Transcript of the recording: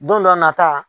Don dɔ a nata